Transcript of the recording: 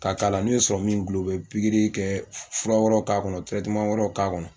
K'a k'a la n'o ye dulon u bɛ pikiri kɛ fura wɛrɛw k'a kɔnɔ wɛrɛw k'a kɔnɔ